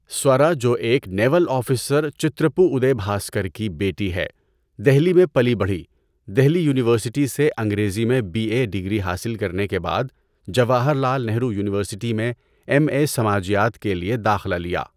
سوارا جو ایک naval officer Chitrapu Uday Bhaskar کی بیٹی ہے، دہلی میں پلی بڑھی۔ دہلی یونیورسٹی سے انگریزی میں بی اے ڈِگری حاصل کرنے کے بعد جواہر لال نہرو یونیورسٹی میں ایم اے سماجیات کے لیے داخلہ لیا۔